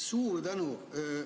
Suur tänu!